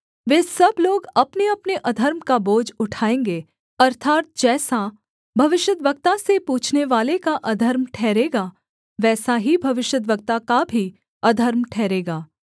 वे सब लोग अपनेअपने अधर्म का बोझ उठाएँगे अर्थात् जैसा भविष्यद्वक्ता से पूछनेवाले का अधर्म ठहरेगा वैसा ही भविष्यद्वक्ता का भी अधर्म ठहरेगा